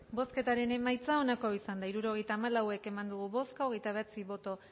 bozketaren emaitza onako izan da hirurogeita hamalau eman dugu bozka hogeita bederatzi boto